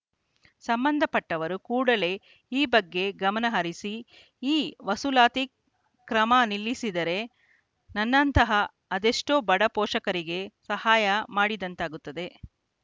ಸಂಬಂಧಪಟ್ಟವರು ಕೂಡಲೇ ಈ ಬಗ್ಗೆ ಗಮನಹರಿಸಿ ಈ ವಸೂಲಾತಿ ಕ್ರಮ ನಿಲ್ಲಿಸಿದರೆ ನನ್ನಂತಹ ಅದೆಷ್ಟೋ ಬಡ ಪೋಷಕರಿಗೆ ಸಹಾಯ ಮಾಡಿದಂತಾಗುತ್ತದೆ